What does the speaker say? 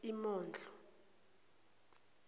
imondlo